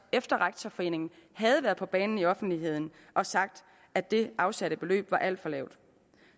efter at rektorforeningen havde været på banen i offentligheden og sagt at det afsatte beløb var alt for lavt